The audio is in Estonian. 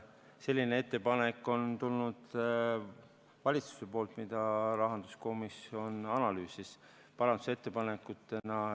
Selline ettepanek on tulnud valitsuselt, seda rahanduskomisjon analüüsis.